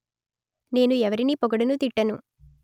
నేను ఎవరినీ పొగడను తిట్టను